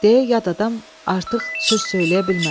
Deyə yad adam artıq söz söyləyə bilmədi.